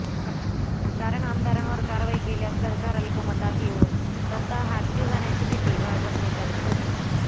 कारण आमदारांवर कारवाई केल्यास सरकार अल्पमतात येऊन सत्ता हातची जाण्याची भीती भाजप नेत्यांना होती